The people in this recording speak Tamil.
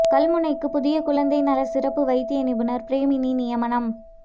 கல்முனைக்கு புதிய குழந்தை நல சிறப்பு வைத்திய நிபுணர் பிரேமினி நியமனம்